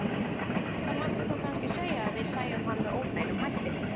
Það mætti þá kannski segja að við sæjum hann með óbeinum hætti.